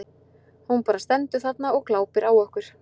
Hún bara stendur þarna og glápir á okkur.